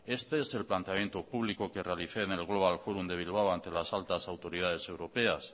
este es el planteamiento público que realicé en el global fórum de bilbao ante las altas autoridades europeas